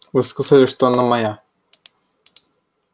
вы сказали что она моя